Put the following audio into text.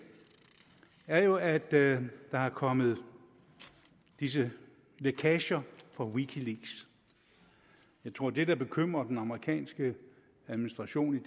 er jo at at der er kommet disse lækager fra wikileaks jeg tror at det der bekymrer den amerikanske administration